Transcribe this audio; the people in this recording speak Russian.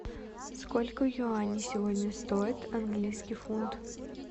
сколько юаней сегодня стоит английский фунт